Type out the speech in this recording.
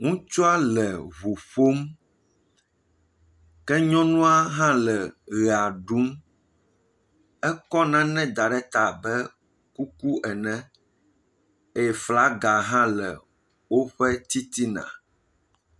Ŋutsua le ŋu ƒom, ke nyɔnua hã le ʋea ɖum, ekɔ nane da ɖe ta abe kuku ene eye flaga hã le woƒe titina.